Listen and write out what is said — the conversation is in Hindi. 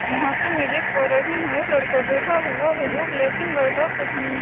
यहाँ पे मैं देख पा रही हूँ एक लड़का बैठा हुआ है जो ब्लैक एंड वाइट और कुछ न --